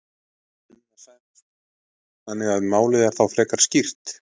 Sunna Sæmundsdóttir: Þannig að málið er þá frekar skýrt?